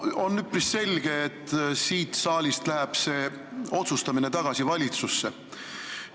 On üpris selge, et siit saalist läheb otsustamine tagasi valitsusse.